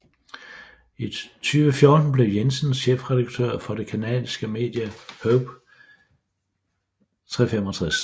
I 2014 blev Jensen chefredaktør for det canadiske medie Hoop365